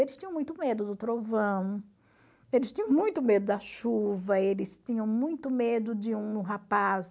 Eles tinham muito medo do trovão, eles tinham muito medo da chuva, eles tinham muito medo de um rapaz...